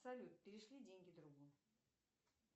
салют перешли деньги другу